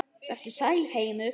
Vertu sæll, heimur.